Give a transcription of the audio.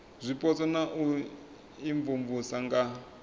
zwipotso na u imvumvusa nga